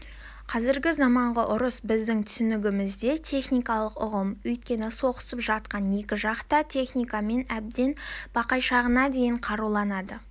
қазіргі заманғы ұрыс біздің түсінігімізде тактикалық ұғым өйткені соғысып жатқан екі жақ та техникамен әбден бақайшағына дейін қаруланады